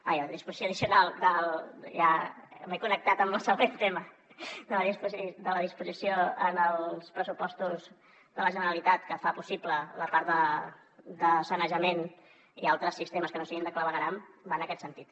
ai la disposició addicional ja m’he connectat amb el següent tema dels pressupostos de la generalitat que fa possible la part de sanejament i altres sistemes que no siguin de clavegueram va en aquest sentit